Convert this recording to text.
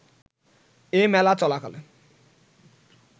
এ মেলা চলাকালে